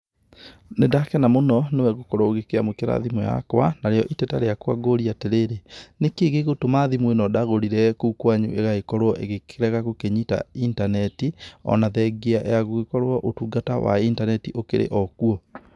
Nĩ ndakena mũno nĩwe gũkorwo ũkĩamũkĩra thimũ yakwa. Narĩo iteta rĩakwa ngũria atĩrĩrĩ, nĩkĩĩ gĩgũtũma thimũ ĩno ndagũrire kũu kwanyu ĩgagĩkorwo ĩgĩkĩrega gũkĩnyita intaneti ona thengia ya gũgĩkorwo ũtungata wa intaneti ũkĩrĩ okuo?